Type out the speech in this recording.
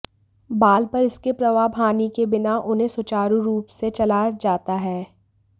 बाल पर इसके प्रभाव हानि के बिना उन्हें सुचारू रूप से चला जाता है